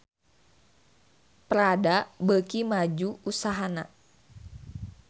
Prada beuki maju usahana